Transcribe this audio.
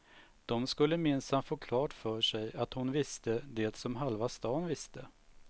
De skulle minsann få klart för sig att hon visste det som halva stan visste.